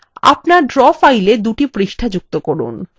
আপনার draw fileএ দুটি পৃষ্ঠা যুক্ত করুন